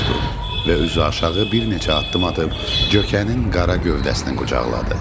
Və üzü aşağı bir neçə addım atıb, cökənin qara gövdəsini qucaqladı.